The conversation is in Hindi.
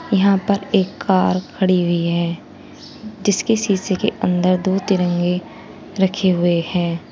यहां पर एक कार खड़ी हुई है जिसके शीशे के अंदर दो तिरंगे रखे हुए हैं।